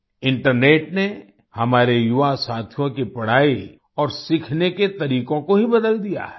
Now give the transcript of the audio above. internet ने हमारे युवा साथियों की पढ़ाई और सीखने के तरीकों को ही बदल दिया है